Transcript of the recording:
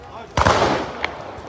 Ay köçmə.